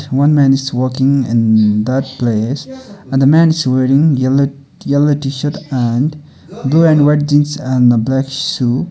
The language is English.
one man is walking in that place and the man is wearing yellow yellow t-shirt and blue and white jeans and a black shoe.